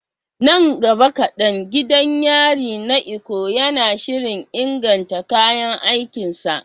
Nan gaba kadan, gidan yarin na Ikoyi yana shirin inganta kayan aikin sa.